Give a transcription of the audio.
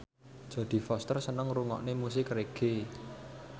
Jodie Foster seneng ngrungokne musik reggae